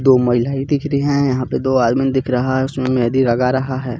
दो महिलाएं दिख रही है यहां पे दो आदमी दिख रहा है उसमे मेंहदी लगा रहा है.